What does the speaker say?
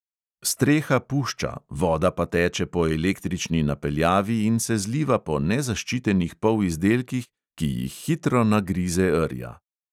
Streha pušča, voda pa teče po električni napeljavi in se zliva po nezaščitenih polizdelkih, ki jih hitro nagrize rja.